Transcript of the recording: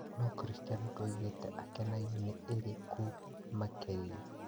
No Cristiano ndaugĩte akenagio na ĩrĩ kũ makĩria.